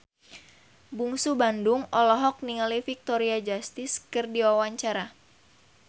Bungsu Bandung olohok ningali Victoria Justice keur diwawancara